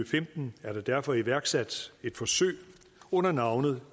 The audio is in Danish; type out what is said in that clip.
femten blev der derfor iværksat et forsøg under navnet